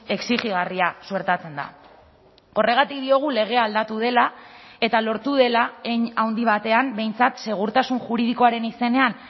exijigarria suertatzen da horregatik diogu legea aldatu dela eta lortu dela hein handi batean behintzat segurtasun juridikoaren izenean